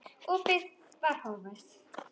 Opið var horfið.